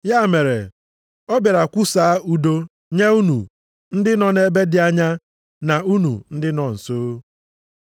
Ya mere, ọ bịara kwusaa udo nye unu ndị nọ ebe dị anya na unu ndị nọ nso,